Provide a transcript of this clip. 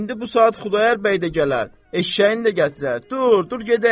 İndi bu saat Xudayar bəy də gələr, eşşəyini də gətirər, dur, dur gedək.